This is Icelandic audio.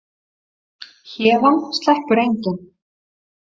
Héðan sleppur enginn.